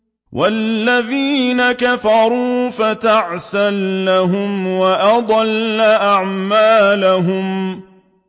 وَالَّذِينَ كَفَرُوا فَتَعْسًا لَّهُمْ وَأَضَلَّ أَعْمَالَهُمْ